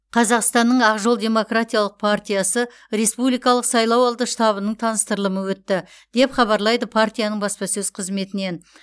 қазақстанның ақ жол демократиялық партиясы республикалық сайлауалды штабының таныстырылымы өтті деп хабарлайды партияның баспасөз қызметінен